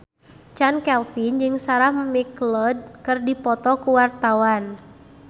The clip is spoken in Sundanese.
Chand Kelvin jeung Sarah McLeod keur dipoto ku wartawan